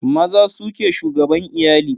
Maza su ke shugaban iyali